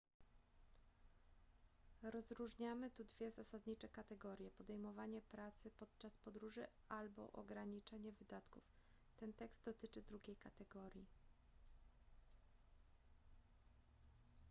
rozróżniamy tu dwie zasadnicze kategorie podejmowanie pracy podczas podróży albo ograniczenie wydatków ten tekst dotyczy drugiej kategorii